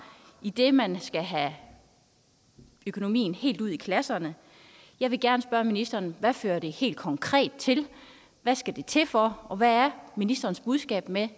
idet man skal have økonomien helt ud i klasserne jeg vil gerne spørge ministeren hvad fører det helt konkret til hvad skal det til for og hvad er ministerens budskab med